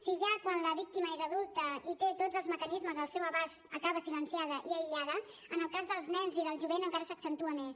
si ja quan la víctima és adulta i té tots els mecanismes al seu abast acaba silenciada i aïllada en el cas dels nens i del jovent encara s’accentua més